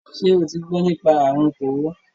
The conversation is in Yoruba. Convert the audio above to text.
Ṣo ti gbọ nípa àrun kòró?